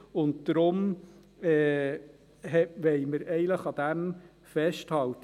Deshalb wollen wir eigentlich daran festhalten.